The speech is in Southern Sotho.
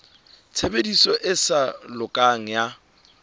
tshebediso e sa lokang ya